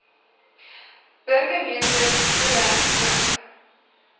burgemeester zille mik